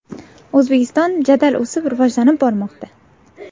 O‘zbekiston jadal o‘sib, rivojlanib bormoqda!